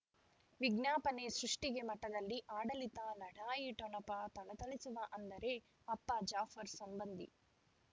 ವಿಜ್ಞಾಪನೆ ಸೃಷ್ಟಿಗೆ ಮಠದಲ್ಲಿ ಆಡಳಿತ ಲಢಾಯಿ ಠೊಣಪ ಥಳಥಳಿಸುವ ಅಂದರೆ ಅಪ್ಪ ಜಾಫರ್ ಸಂಬಂಧಿ